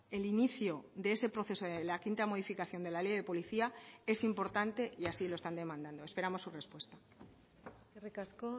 el inicio de ese proceso de la quinta modificación de la ley de policía es importante y así lo están demandando esperamos su respuesta eskerrik asko